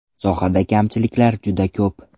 Sohada kamchiliklar juda ko‘p.